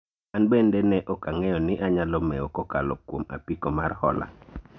an bende ne ok ang'eyo ni anyalo mewo kokalo kuom apiko mar hola